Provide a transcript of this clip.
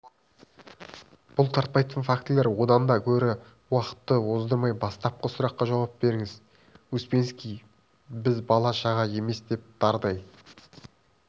бұлтартпайтын фактілер одан да гөрі уақытты оздырмай бастапқы сұраққа жауап беріңіз успенский біз бала-шаға емес дап-дардай